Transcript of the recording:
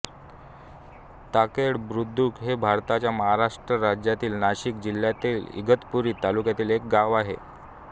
ताकेड बुद्रुक हे भारताच्या महाराष्ट्र राज्यातील नाशिक जिल्ह्यातील इगतपुरी तालुक्यातील एक गाव आहे